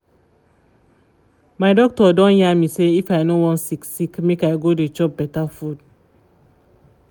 my doctor don yarn me say if i no wan sick sick make i go dey chop better food